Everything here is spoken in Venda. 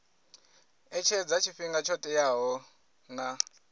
etshedza tshifhinga tsho teaho na